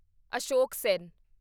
Ashok Sen